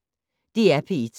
DR P1